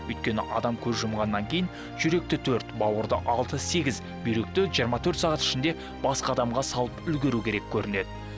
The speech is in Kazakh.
өйткені адам көз жұмғаннан кейін жүректі төрт бауырды алты сегіз бүйректі жиырма төрт сағат ішінде басқа адамға салып үлгеру керек көрінеді